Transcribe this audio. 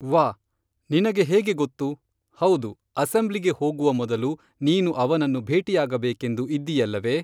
ವ್ಹಾ, ನಿನಗೆ ಹೇಗೆ ಗೊತ್ತು, ಹೌದು ಅಸೆಂಬ್ಲಿಗೆ ಹೋಗುವ ಮೊದಲು ನೀನು ಅವನನ್ನು ಭೇಟಿಯಾಗಬೇಕೆಂದು ಇದ್ದಿಯಲ್ಲವೇ